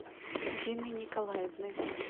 дины николаевны